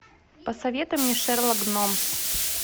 посоветуй мне шерлок гномс